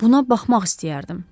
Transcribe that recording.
Buna baxmaq istəyərdim.